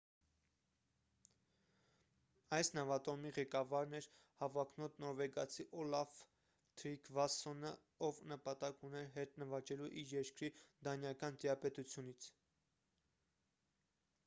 այս նավատորմի ղեկավարն էր հավակնոտ նորվեգացի օլաֆ թրիգվասսոնը ով նպատակ ուներ հետ նվաճելու իր երկիրը դանիական տիրապետությունից